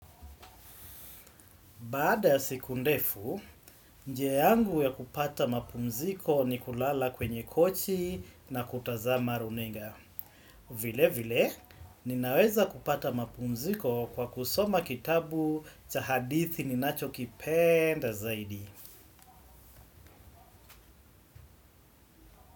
Baada ya siku ndefu njia yangu ya kupata mapumziko ni kulala kwenye kochi na kutazama runinga. Vile vile ninaweza kupata mapumziko kwa kusoma kitabu cha hadithi ninacho kipenda zaidi.